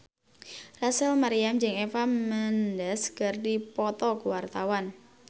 Rachel Maryam jeung Eva Mendes keur dipoto ku wartawan